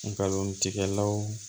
Ngalon tigɛlaw